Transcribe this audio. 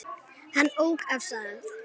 Hann ók af stað.